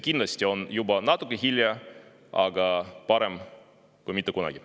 Kindlasti on siis juba natuke hilja, aga parem hilja kui mitte kunagi.